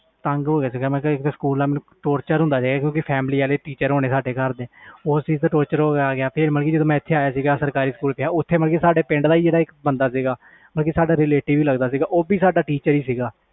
ਤੰਗ ਹੋ ਗਿਆ ਸੀ ਮੈਂ ਸਕੂਲ ਮੈਨੂੰ ਯਾਰ tocher ਹੁੰਦਾ ਪਿਆ ਸੀ ਬਹੁਤ ਜਿਆਦਾ ਕਿਉਕਿ family ਵਾਲੇ teacher ਹੁਣੇ ਸਾਰੇ ਫਰ ਮੈਂ ਜਦੋ ਸਰਕਾਰੀ ਸਕੂਲ ਆਇਆ ਤਾ ਉਹ ਵੀ ਸਾਡੇ ਪਿੰਡ ਦਾ teacher ਸੀ